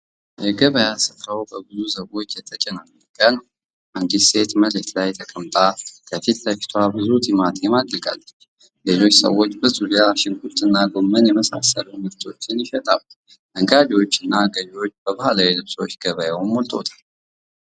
የገበያ ስፍራው በብዙ ሰዎች የተጨናነቀ ነው። አንዲት ሴት መሬት ላይ ተቀምጣ ከፊት ለፊቷ ብዙ ቲማቲም አድርጋለች። ሌሎች ሰዎች በዙሪያው ሽንኩርትና ጎመን የመሳሰሉ ምርቶችን ይሸጣሉ። ነጋዴዎችና ገዥዎች በባህላዊ ልብሶች ገበያውን ሞልተውታል።